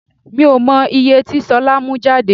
Mi ò mọ ìye tí ṣolá mú jáde.